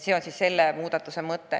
See on selle muudatuse mõte.